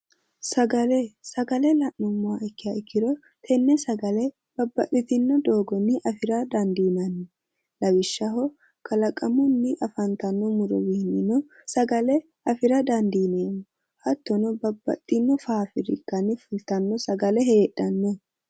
Sagale sagale la'numoha ikkiha ikkiro tenne sagale babbaxitino doofoni afira danidiinanni lawishshaho kalaqamunni afanitanno muronni no sagale afira danidiineemo hattono babbaxino fafirikkani fulitanni sagale hedhano